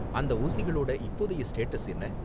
அந்த ஊசிகளோட இப்போதைய ஸ்டேட்டஸ் என்ன?